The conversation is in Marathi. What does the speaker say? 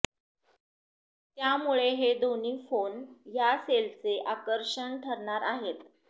त्यामुळे हे दोन्ही फोन या सेलचे आकर्षण ठरणार आहेत